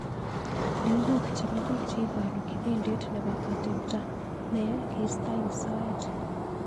Lenguk chebok biik cheibaru kibindit nebo atemta neya keistoo ik soet.